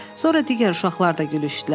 Sonra digər uşaqlar da gülüşdülər.